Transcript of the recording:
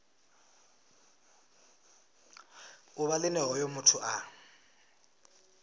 ḓuvha line hoyo muthu a